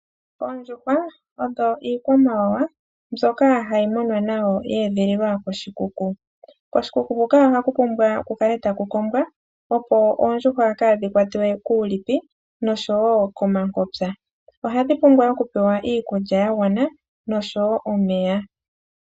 Oondjuhwa odho iikwamawawa mbyoka hayi munwa nawa yedhililwa koshikuku, koshikuku huka ohaku pumbwa kukale ta ku kombwa opo oondjuhwa kadhi kwatwe kuulipi noshowo komankopya, ohadhi pumbwa okupewa iikulya yagwana noshowo omeya.